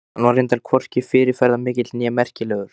Hann var reyndar hvorki fyrirferðarmikill né merkilegur.